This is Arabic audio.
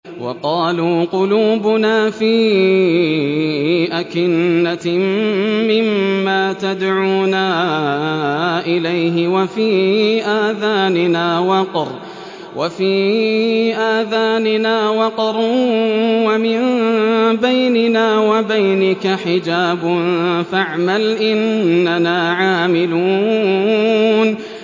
وَقَالُوا قُلُوبُنَا فِي أَكِنَّةٍ مِّمَّا تَدْعُونَا إِلَيْهِ وَفِي آذَانِنَا وَقْرٌ وَمِن بَيْنِنَا وَبَيْنِكَ حِجَابٌ فَاعْمَلْ إِنَّنَا عَامِلُونَ